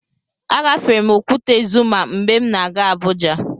Agafere m Okwute Zuma mgbe m na-aga Abuja.